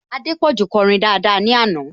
Adépọ̀jù kọrin daada ní àná